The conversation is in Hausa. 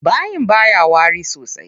Bayin baya wari sosai.